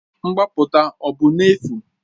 Mgbapụta ọ bụ n'efu?